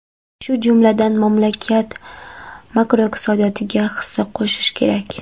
Shu jumladan, mamlakat makroiqtisodiyotiga hissa qo‘shish kerak.